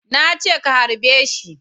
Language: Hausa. Na ce ka harbe shi